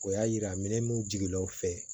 O y'a yira minɛn mun jigila o fɛ